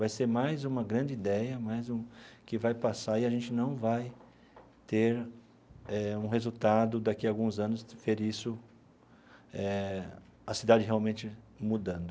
Vai ser mais uma grande ideia mais um que vai passar e a gente não vai ter um resultado daqui a alguns anos de ver isso, eh a cidade realmente mudando.